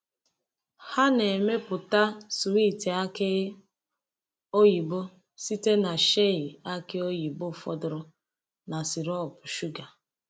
Ha na-emepụta swiiti aki oyibo site na shei aki oyibo fọdụrụ na sirop shuga.